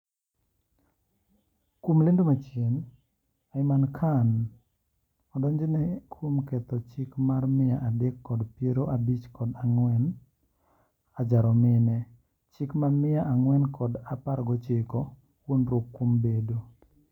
Kuom lendo machien ,Aimal Khan odonjne kuom ketho chik mar mia adek kod piero abich kod angew (ajaro mine),chik mar mia agwen kod apargochiko(wuondruok kuom bedo)